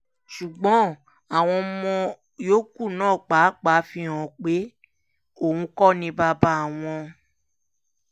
ṣùgbọ́n àwọn ọmọ yòókù náà pàápàá fi hàn án pé òun kò ní bàbá àwọn